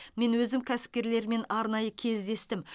мен өзім кәсіпкерлермен арнайы кездестім